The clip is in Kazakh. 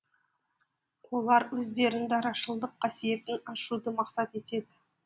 олар өздерін дарашылдық қасиетін ашуды мақсат етеді